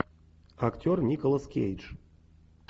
актер николас кейдж